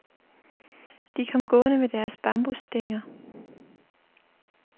De kom gående med deres bambusstænger.